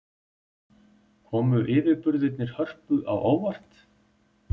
Komu yfirburðirnir Hörpu á óvart?